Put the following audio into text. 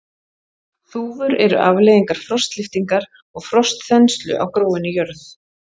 Þúfur eru afleiðingar frostlyftingar og frostþenslu á gróinni jörð.